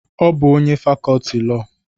Ọ bụ onye fakọọti Iwu